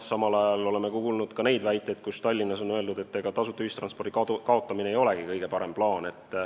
Samal ajal oleme kuulnud ka seda, kuidas Tallinnas on öeldud, et ega tasuta ühistranspordi kaotamine ei olegi kõige parem plaan.